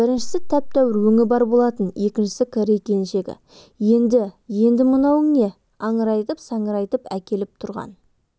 біріншісі тәп-тәуір өңі бар болатын екіншісі корей келіншегі еді енді мынауың не аңырайтып-саңырайтып әкеліп тұрған